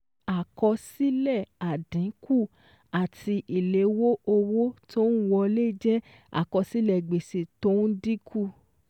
Àkọsílẹ̀ àdínkù àti ìléwó owó tó n wọlé jẹ́ àkọsílẹ̀ gbèsè tó n dínkù